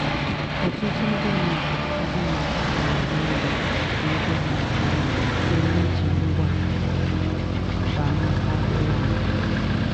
ọtụtụ ndị mmadụ ndị mmadụ na-agba mbọ ijikwa ego ha nke ọma site n'iji ngwa mkpanaka ụlọ akụ.